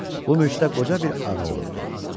Bu mülkdə qoca bir ağa olurdu.